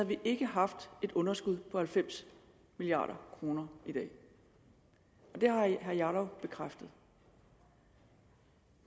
vi ikke haft et underskud på halvfems milliard kroner i dag det har herre jarlov bekræftet